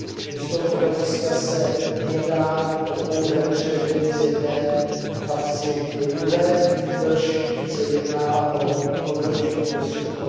5. Z tohoto hlediska se nejedná o pouhé převedení z jedné kapsy do druhé, nýbrž se jedná o nové užití prostředků.